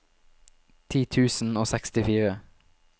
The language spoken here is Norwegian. ti tusen og sekstifire